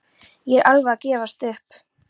Ég er alveg að gefast upp.